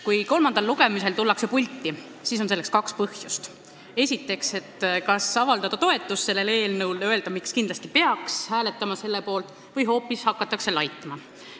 Kui kolmandal lugemisel tullakse pulti, siis on selleks kaks põhjust: kas avaldada toetust eelnõule ja öelda, miks kindlasti peaks hääletama selle poolt, või hoopis hakata laitma.